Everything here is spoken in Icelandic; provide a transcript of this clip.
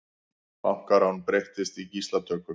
Bankarán breyttist í gíslatöku